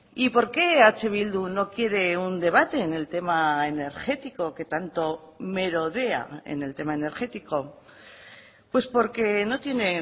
y por qué eh bildu no quiere un debate en el tema energético que tanto merodea en el tema energético pues porque no tiene